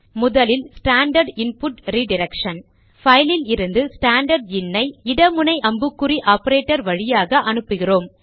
முதலில் standard input redirection பைலில் இருந்து ஸ்டாண்டர்ட் இன் ஐ இட முனை அம்புக்குறி ஆபரேட்டர் வழியாக அனுப்புகிறோம்